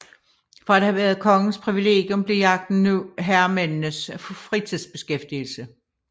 Fra at have været kongens privilegium blev jagten nu herremændenes fritidsbeskæftigelse